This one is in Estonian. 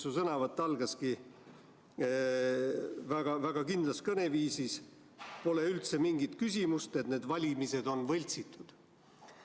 Su sõnavõtt algaski väga-väga kindlas kõneviisis, et pole üldse mingit küsimust, et need valimised on võltsitud.